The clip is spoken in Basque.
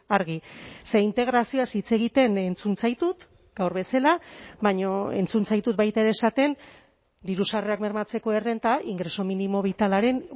argi ze integrazioaz hitz egiten entzun zaitut gaur bezala baina entzun zaitut baita ere esaten diru sarrerak bermatzeko errenta ingreso mínimo vitalaren